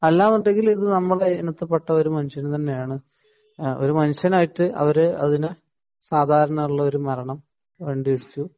അല്ല എന്നുണ്ടെങ്കിൽ ഇത് നമ്മുടെ ഇനത്തിൽ പെട്ട ഒരു മനുഷ്യൻ തന്നെയാണ് ഒരു മനുഷ്യനായിട്ടു അവർ അതിനെ സാധാരണ ഉള്ള ഒരു മരണം വണ്ടി ഇടിച്ചു